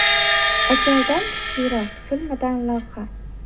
Ajaldan kuchliroq” filmidan lavha.